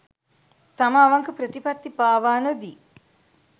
තම අවංක ප්‍රතිපත්ති පාවා නොදී